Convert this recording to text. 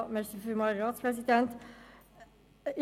Sie haben das Wort, Grossrätin Stucki.